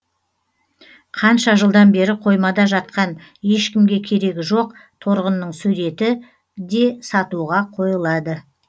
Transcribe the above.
қанша жылдан бері қоймада жатқан ешкімге керегі жоқ торғынның суреті де сатуға қойылады